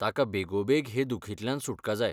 ताका बेगोबेग हे दुखींतल्यान सुटका जाय.